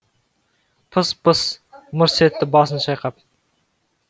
пыс пыс мырс етті басын шайқап